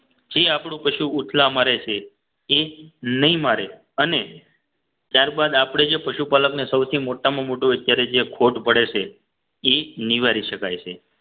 એ આપણું કશું એટલા મરે છે એ નહીં મારે અને ત્યારબાદ આપણે જે પશુપાલકને સૌથી મોટામાં મોટું અત્યારે જે ખોટ પડે છે એ નિવારી શકાય છે